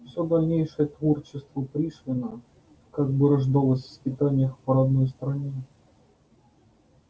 всё дальнейшее творчество пришвина как бы рождалось в скитаниях по родной стране